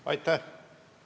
Aitäh!